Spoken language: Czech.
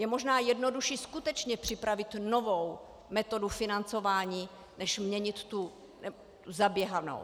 Je možná jednodušší skutečně připravit novou metodu financování než měnit tu zaběhanou.